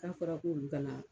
K'a fɔra k'olu ka na.